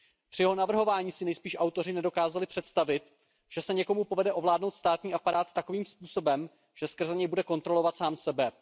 Při jeho navrhování si nejspíš autoři nedokázali představit, že se někomu povede ovládnout státní aparát takovým způsobem, že skrze něj bude kontrolovat sám sebe.